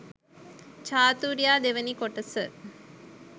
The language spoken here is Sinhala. චාතූර්යා දෙවැනි කොටස